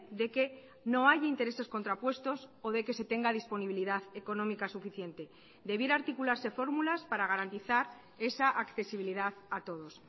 de que no hay intereses contrapuestos o de que se tenga disponibilidad económica suficiente debiera articularse fórmulas para garantizar esa accesibilidad a todos